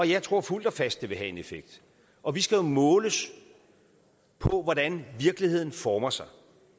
jeg tror fuldt og fast at de vil have en effekt og vi skal måles på hvordan virkeligheden former sig